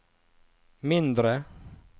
mindre